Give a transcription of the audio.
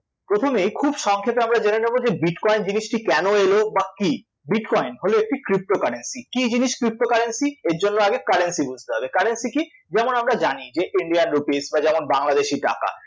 প্রথমে খুব সংক্ষেপে আমরা জেনে নেব যে bitcoin জিনিসটি কেন এল বা কী? bitcoin হল একটি pto currency কী জিনিস pto currency এর জন্য আগে currency বুঝতে হবে currency কী? যেমন আমরা জানি যে Indian rupees বা যেমন বাংলাদেশী টাকা